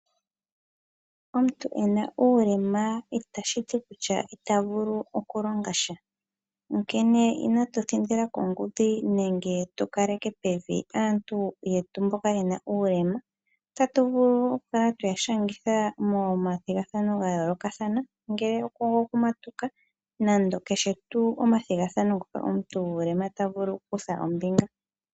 Omuntu ena uulema itashiti kutya ita vulu okulongasha onkene inatu thindila kongudhi nenge tu kaleke pevi aantu yetu mboka yena uulema . Otatuvulu okukala twe ya shangitha mo mathigathano ga yoolokathana ngele ogo ku matuka nenge kehe tuu omathigathano tavulu oku kutha ombinga.